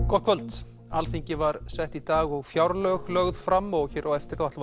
gott kvöld Alþingi var sett í dag og fjárlög lögð fram og hér á eftir ætlum